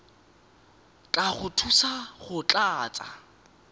tla go thusa go tlatsa